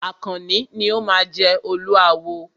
Àkànní ni o máa jẹ Olúawo.